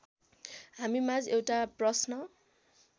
हामीमाझ एउटा प्रश्न